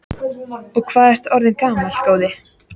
Og hvað ertu orðinn gamall, góði?